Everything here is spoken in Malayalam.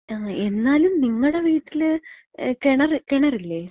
ങാ, എന്നാലും നിങ്ങടെ വീട്ടില്, ഏ കെണറ്, കെണറില്ലേ?